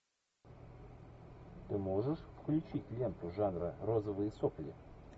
ты можешь включить ленту жанра розовые сопли